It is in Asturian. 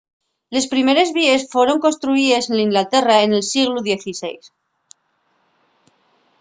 les primeres víes foron construyíes n'inglaterra nel sieglu xvi